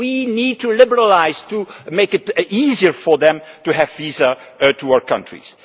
We need to liberalise to make it easier for them to have visas to our countries.